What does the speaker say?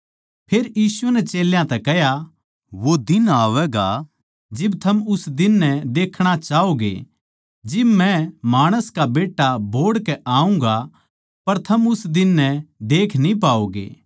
फेर यीशु नै चेल्यां तै कह्या वो दिन आवैगा जिब थम उस दिन नै देखणा चाहोंगे जिब मै माणस का बेट्टा बोहड़ के आऊँगा पर थम उस दिन नै देख न्ही पाओगे